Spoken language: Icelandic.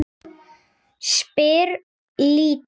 spyr Lídó.